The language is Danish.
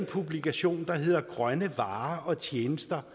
publikation grønne varer og tjenester